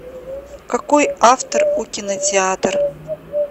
какой автор у кинотеатр